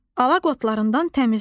Alaq otlarından təmizlə.